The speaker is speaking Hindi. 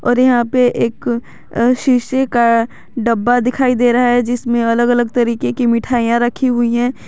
और यहां पे एक शीशे का डब्बा दिखाई दे रहा है जिसमें अलग अलग तरीके की मिठाइयां रखी हुई हैं।